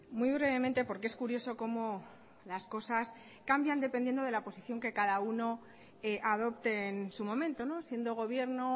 muy brevemente porque es curioso como las cosas cambian dependiendo de la posición que cada uno adopte en su momento siendo gobierno